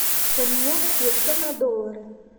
поменять песо на доллары